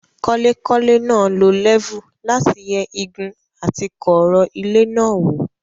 Kọ́lékọ́lé náà lo lẹ́fù láti yẹ igun àti kọ̀ọ̀rọ̀ ilé náà wò.